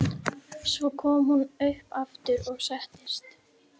Svo kom hún upp aftur og settist.